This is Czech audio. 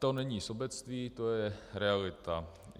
To není sobectví, to je realita.